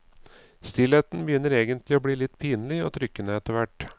Stillheten begynner egentlig å bli litt pinlig og trykkende etterhvert.